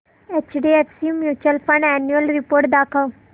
HDFC mutual fund annual report दाखव